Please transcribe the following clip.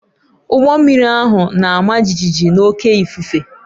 Ụgbọ mmiri ahụ na-ama jijiji n'oké ifufe